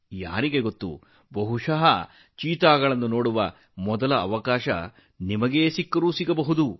ಯಾರಿಗೆ ಗೊತ್ತು ಚಿರತೆಯನ್ನು ನೋಡುವ ಅವಕಾಶವನ್ನು ಬಹುಮಾನವಾಗಿ ಪಡೆಯುವ ಮೊದಲಿಗರು ನೀವಾಗಬಹುದು